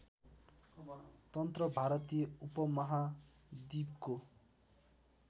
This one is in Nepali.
तन्त्र भारतीय उपमहाद्वीपको